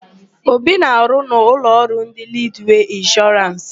Obi na-arụ na ụlọọrụ ndị Lidwee Ịnshọrans.